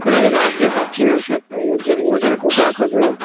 ನಮ್ ಕಡೆ ಅದೆ last day पालकी ನಡ್ಸೋದು ಊರ್ ಜನಕ್ ಊಟ ಹಾಕೋದು.